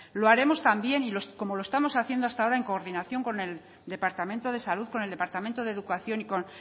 lo haremos también como lo estamos haciendo hasta ahora en coordinación con el departamento de salud con el departamento de educación y con